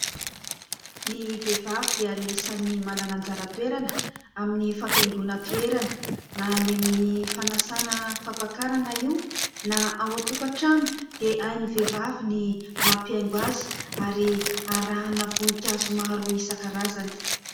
Ny vehivavy dia anisany manana anjara toerana amin'ny fampihaingona toerana, na ny amin'ny fanasana fampakarana io, na ao an-tokantrano dia hain'ny vehivavy ny mampihaingo azy ary arahana voninkazo maro isan-karazany.